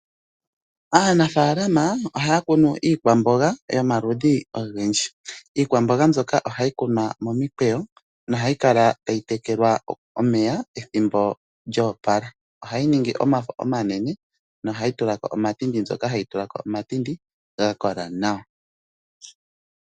Aanafaalama ohaya kunu iikwamboga yomaludhi ogendji. Iikwamboga mbyoka ohayi kunwa momikweyo nohayi kala tayi tekelwa omeya pethimbo lyo opala. Ohayi ningi omafo omanene nohayi tula ko omatindi, mbyoka hayi tula ko omatindi ga kola nawa.